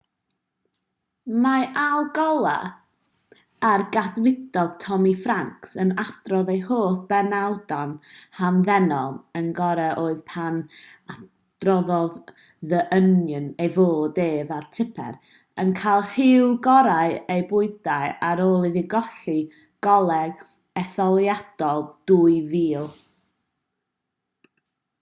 mae al gore a'r cadfridog tommy franks yn adrodd eu hoff benawdau'n hamddenol un gore oedd pan adroddodd the onion ei fod ef a tipper yn cael rhyw gorau eu bywydau ar ôl iddo golli coleg etholiadol 2000